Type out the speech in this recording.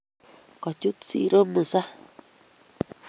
Kachut siro Musa